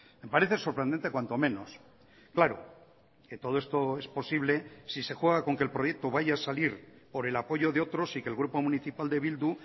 me parece sorprendente cuanto menos claro que todo esto es posible si se juega con que el proyecto vaya a salir por el apoyo de otros y que el grupo municipal de bildu